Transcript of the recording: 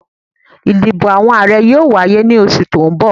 Ìdìbò Ààrẹ yóò wáyé ní oṣù tó ń bọ̀